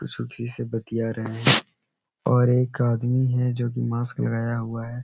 सुखी से बतिया रहे हैं और एक आदमी है जो कि मास्क लगाया हुआ है --